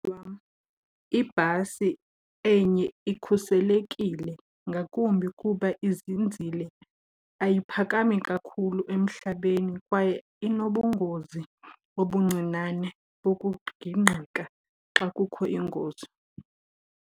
ibhasi enye ikhuselekile ngakumbi kuba izinzile, ayiphakami kakhulu emhlabeni kwaye inobungozi obuncinane bokugingqika xa kukho ingozi.